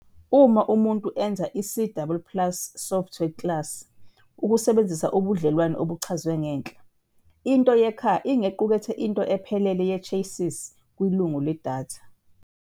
Uma umuntu enza i-C double plus software Class ukusebenzisa ubudlelwane obuchazwe ngenhla, into yeCar ingequkethe into ephelele yeChassis kwilungu ledatha.